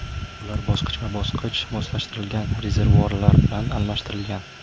Ular bosqichma-bosqich moslashtirilgan rezervuarlar bilan almashtirilgan.